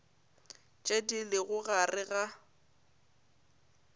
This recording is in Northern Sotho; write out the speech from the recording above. tše di lego gare ga